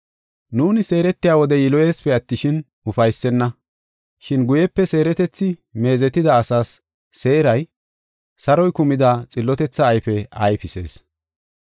Nuuni seeretiya wode yiloyeesipe attishin, ufaysenna. Shin guyepe seeretethi meezetida asaas seeray, saroy kumida xillotethaa ayfe ayfisees.